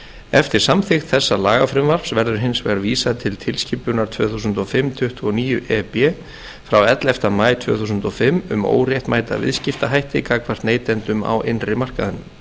eftir samþykkt þessa lagafrumvarps verður hins vegar vísað til tilskipunar tvö þúsund og fimm tuttugu og níu e b frá ellefta maí tvö þúsund og fimm um óréttmæta viðskiptahætti gagnvart neytendum á innri markaðinum